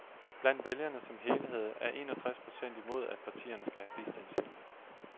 Blandt vælgerne som helhed er en og tres procent imod, at partierne skal have bistandshjælp.